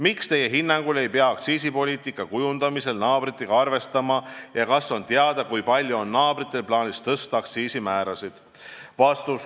Miks Teie hinnangul ei pea aktsiisipoliitika kujundamisel naabritega arvestama ja kas on teada kui palju on naabritel plaanis tõsta aktsiisimäärasid?